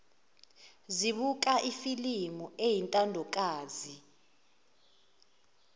zibuka ifilimu eyintandokazi